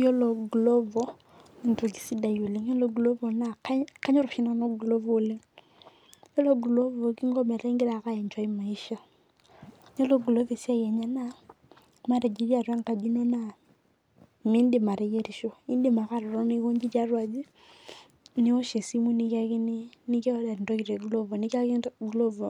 Yiolo glovo naa entoki sidai oleng Yiolo glovo naa kanyor oshi nanu glovo oleng Yiolo glovo kingo metaa igira eke aenjoi maishaa. Yiolo glovo esiai enye naa matejo itii atwa engaji ino naa miidim ateyierisho in'dim ake atotona iyie tiatua aji niwosh esimu niorder entoki te glovo nimiyakini glovo